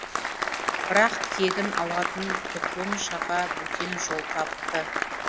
бірақ кегін алатын құтлұн шаға бөтен жол тапты